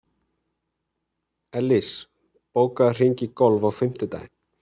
Ellís, bókaðu hring í golf á fimmtudaginn.